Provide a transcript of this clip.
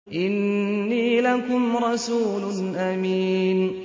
إِنِّي لَكُمْ رَسُولٌ أَمِينٌ